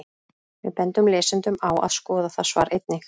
Við bendum lesendum á að skoða það svar einnig.